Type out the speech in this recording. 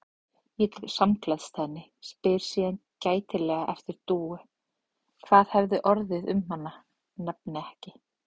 Ég samgleðst henni, spyr síðan gætilega eftir Dúu, hvað hafi orðið um hana, nefni ekki